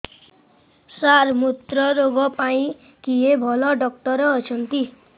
ସାର ମୁତ୍ରରୋଗ ପାଇଁ କିଏ ଭଲ ଡକ୍ଟର ଅଛନ୍ତି